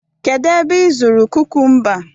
kedu ebe ị zụrụ kukumba